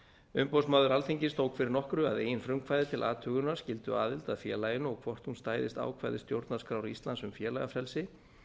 umboðsmaður alþingis tók fyrir nokkru að eigin frumkvæði til athugunar skylduaðild að félaginu og hvort hún stæðist ákvæði stjórnarskrár íslands um félagafrelsi